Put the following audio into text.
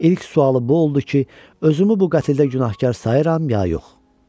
İlk sualı bu oldu ki, özümü bu qətldə günahkar sayıram ya yox?